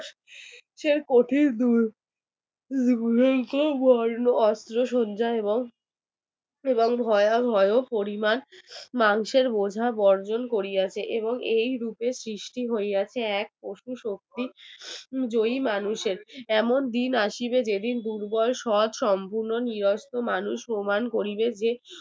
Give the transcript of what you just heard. মাংসের খোলা বর্জন করিয়াছে এবং এই রূপে সৃষ্টি হইয়াছে এক পশু শক্তির জয়ী মানুষের এমন দিন আসিবে যেদিন দুর্বল সৎ সম্পূর্ণ নিরস্ত্র মানুষ প্রমাণ করিবে যে